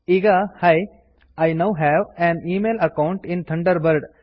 ಈಗ hi I now have an email account in Thunderbird